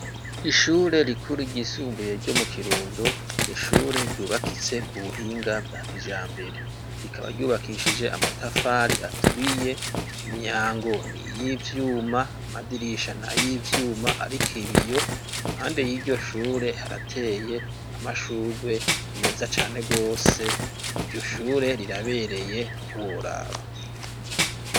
Ishure rikuru ryisumbuye ryo mu Kirundo. nishure ryubakitse ku buhinga bwa kijambere, rikaba ryubakishije amatafari aturiye ,Imyango ni y'ivyuma amadirisha na y'ivyuma ariko ibiyo impande y'iryoshure harateye amashurwe meza cane rwose iryoshure rirabereye ntiworaba.